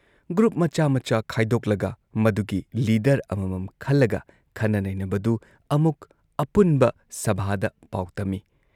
Group ꯃꯆꯥ ꯃꯆꯥ ꯈꯥꯏꯗꯣꯛꯂꯒ ꯃꯗꯨꯒꯤ ꯂꯤꯗꯔ ꯑꯃꯃꯝ ꯈꯜꯂꯒ ꯈꯟꯅ ꯅꯩꯅꯕꯗꯨ ꯑꯃꯨꯛ ꯑꯄꯨꯟꯕ ꯁꯚꯥꯗ ꯄꯥꯎ ꯇꯝꯏ ꯫